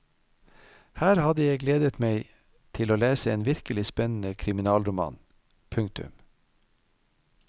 Her hadde jeg gledet meg til å lese en virkelig spennende kriminalroman. punktum